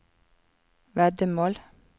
veddemål